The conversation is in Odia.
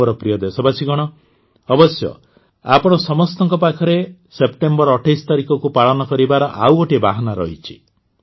ମୋ ପ୍ରିୟ ଦେଶବାସୀଗଣ ଅବଶ୍ୟ ଆପଣ ସମସ୍ତଙ୍କ ପାଖରେ ସେପ୍ଟେମ୍ବର ୨୮ ତାରିଖକୁ ପାଳନ କରିବାର ଆଉ ଗୋଟିଏ ବାହାନା ରହିଛି